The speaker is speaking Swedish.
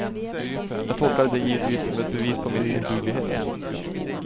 Jag tolkade det givetvis som ett bevis på min oduglighet.